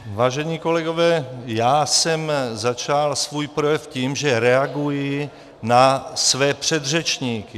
Vážení kolegové, já jsem začal svůj projev tím, že reaguji na své předřečníky.